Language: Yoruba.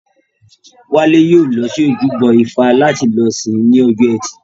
Wálé yóò lọ sí ojúbọ ifá láti lọ sìn ín ní ọjọ́ ẹtì